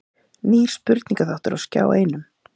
Nýr spurningaþáttur á Skjá einum